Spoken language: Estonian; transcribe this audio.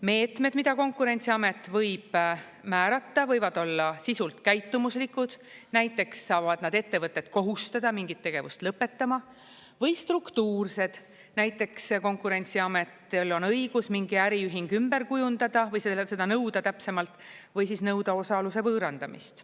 Meetmed, mida Konkurentsiamet võib määrata, võivad olla sisult käitumuslikud, näiteks saavad nad ettevõtet kohustada mingit tegevust lõpetama, või struktuursed, näiteks Konkurentsiametil on õigus mingi äriühing ümber kujundada või täpsemalt, seda nõuda või nõuda osaluse võõrandamist.